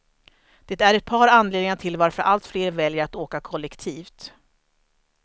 Det är ett par anledningar till varför allt fler väljer att åka kollektivt.